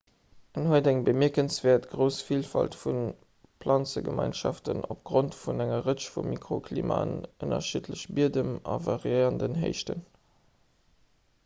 en huet eng bemierkenswäert grouss villfalt vu planzegemeinschaften opgrond vu senger rëtsch vu mikroklimaen ënnerschiddleche biedem an variérenden héichten